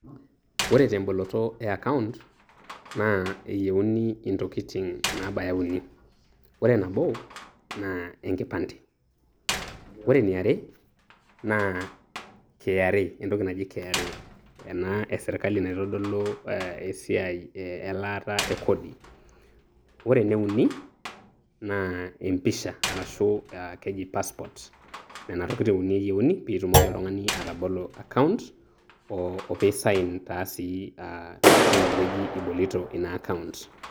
Ore temboloto e account naa eyieuni intokitin naabaya uni, ore nabo naa enkipande, ore eniare naa KRA entoki naji KRA, ena eserkali naitodolu aah esiai eeh elaata ekodi, ore eneuni naa empisha arashu aah keji passport. Nena tokitin uni eyieuni piitumoki oltung'ani atabolo account ooh opiisain taa sii aah tinewueji ibolito ina account.